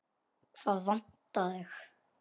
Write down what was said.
Hvað vantar þig?